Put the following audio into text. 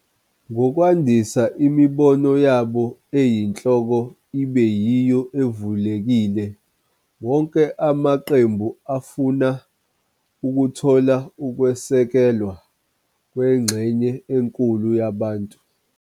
Ngokwandisa imibono yabo eyinhloko ibe yiyo evulekile, wonke amaqembu afuna ukuthola ukusekelwa kwengxenye enkulu yabantu.